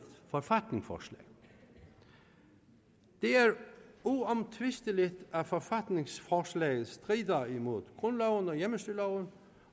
forfatningsforslag det er uomtvisteligt at forfatningsforslaget strider imod grundloven og hjemmestyreloven